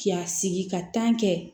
K'i ya sigi ka kɛ